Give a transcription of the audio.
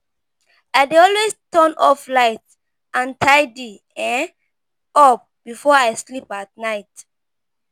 I dey always turn off lights and tidy um up before I sleep at night.